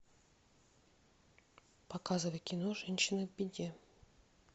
показывай кино женщины в беде